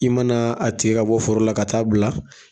I mana a tigɛ ka bɔ foro la ka taa a bila